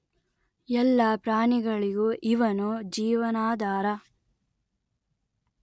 ಎಲ್ಲ ಪ್ರಾಣಿಗಳಿಗೂ ಇವನು ಜೀವನಾಧಾರ